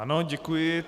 Ano, děkuji.